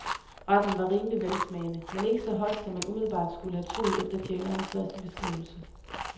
Retten var rimelig velsmagende, men ikke så hot som man umiddelbart skulle have troet efter tjenerens første beskrivelse.